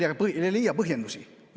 Tõesti loll, kes ei leia põhjendusi.